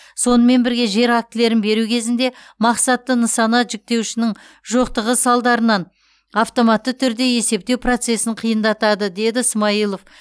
сонымен бірге жер актілерін беру кезінде мақсатты нысана жіктеуішінің жоқтығы салдарынан автоматты түрде есептеу процесін қиындатады деді ә смайылов